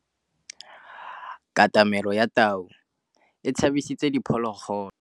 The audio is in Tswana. Katamêlô ya tau e tshabisitse diphôlôgôlô.